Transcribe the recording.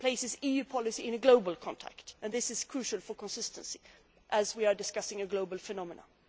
It places EU policy in a global context, and this is crucial for consistency, as we are discussing a global phenomenon.